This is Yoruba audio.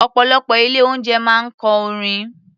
Ọ̀pọ̀lọpọ̀ ilé-oúnjẹ máa ń kọ orin.